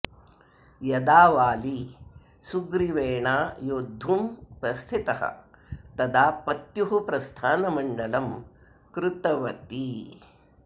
यदा वाली सुग्रीवेणा योध्दुं प्रस्थितः तदा पत्युः प्रस्थानमङ्गलं कृतवती